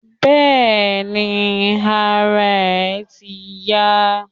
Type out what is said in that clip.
Bẹ́ẹ̀ni, ara ẹ̀ ti ń yá.